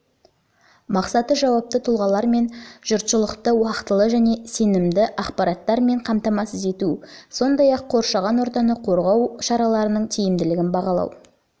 мақсаты жауапты тұлғалар мен жұртшылықты уақтылы және сенімді ақпараттар және қамтамасыз ету сондай-ақ қоршаған ортаны қорғау шараларының тиімділігін бағалау